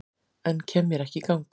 En kem mér ekki í gang